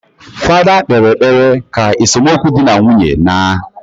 Fada kpere ekpere ka esomukwu di na nwunye naaa